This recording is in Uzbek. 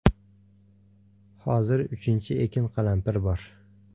Hozir uchinchi ekin qalampir bor.